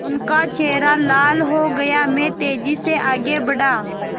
उनका चेहरा लाल हो गया मैं तेज़ी से आगे बढ़ा